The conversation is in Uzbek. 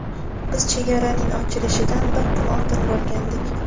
Biz chegaraning ochilishidan bir kun oldin borgandik.